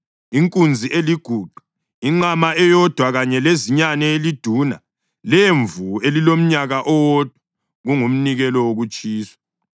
inkunzi eliguqa, inqama eyodwa kanye lezinyane eliduna lemvu elilomnyaka owodwa, kungumnikelo wokutshiswa;